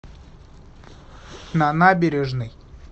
на набережной